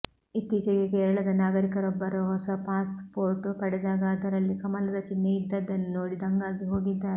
ಇತ್ತೀಚೆಗೆ ಕೇರಳದ ನಾಗರಿಕರೊಬ್ಬರು ಹೊಸ ಪಾಸ್ ಪೋರ್ಟ್ ಪಡೆದಾಗ ಅದರಲ್ಲಿ ಕಮಲದ ಚಿಹ್ನೆ ಇದ್ದದ್ದನ್ನು ನೋಡಿ ದಂಗಾಗಿ ಹೋಗಿದ್ದಾರೆ